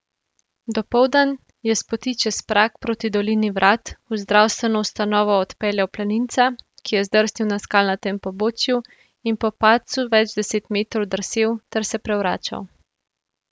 Dopoldan je s poti čez Prag proti dolini Vrat v zdravstveno ustanovo odpeljal planinca, ki je zdrsnil na skalnatem pobočju in po padcu več deset metrov drsel ter se prevračal.